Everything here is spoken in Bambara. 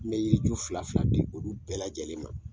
N bɛ yiri ju fila fila di olu bɛɛ lajɛlen ma.